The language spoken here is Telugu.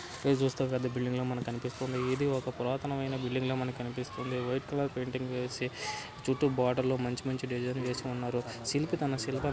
ఇది చూసినట్లయితే ఇది ఒక బిల్డింగ్ లా మనకు కనిపిస్తుందిఇది ఒక పురాతనమైన బిల్డింగ్ లా మనకు కనిపిస్తుందివైట్ కలర్ పెయింటింగ్ వేసి చుట్టూ బోర్డర్ లో మంచి మంచి డిజైన్స్ గీసి ఉన్నారు శిల్పి తన శిల్పం--